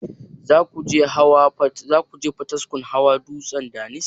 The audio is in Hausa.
Zakuje potiskum hawa dutsen daniski?